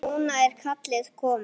Núna er kallið komið.